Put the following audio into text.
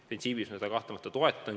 Printsiibilt ma seda kahtlemata toetan.